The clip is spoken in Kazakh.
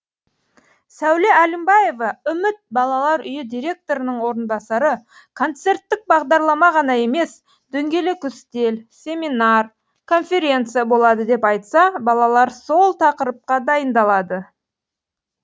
сәуле әлімбаева үміт балалар үйі директорының орынбасары концерттік бағдарлама ғана емес дөңгелек үстел семинар конференция болады деп айтса балалар сол тақырыпқа дайындалады